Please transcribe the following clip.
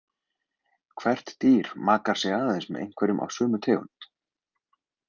Hvert dýr makar sig aðeins með einhverjum af sömu tegund.